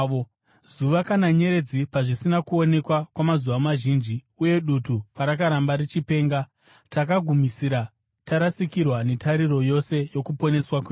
Zuva kana nyeredzi pazvisina kuonekwa kwamazuva mazhinji, uye dutu parakaramba richipenga, takagumisira tarasikirwa netariro yose yokuponeswa kwedu.